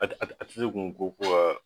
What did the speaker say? At at at att kun ko ko gaa